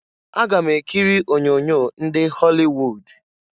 Aga m ekiri onyoonyo ndị họlị wud.